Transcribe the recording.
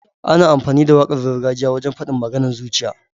Ana amfani da waƙar gargajiya wajen faɗin maganar zuciya.